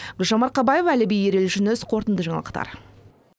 гүлжан марқабаева әліби ерел жүніс қорытынды жаңалықтар